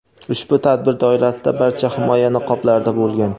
Ushbu tadbir doirasida barcha himoya niqoblarida bo‘lgan.